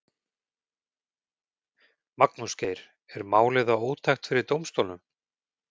Magnús Geir: Er málið þá ótækt fyrir dómsstólum?